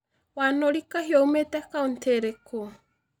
wanuri kahiu oimĩte county ũrĩkũ